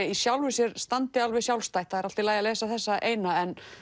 í sjálfu sér standi alveg sjálfstætt það er allt í lagi að lesa þessa eina en